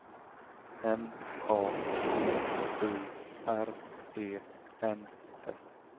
N A T U R E N S